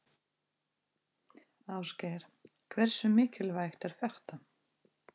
Ásgeir: Hversu mikilvægt er þetta?